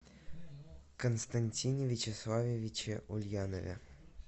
константине вячеславовиче ульянове